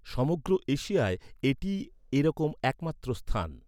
সমগ্র এশিয়ায় এটিই এরকম একমাত্র স্থান।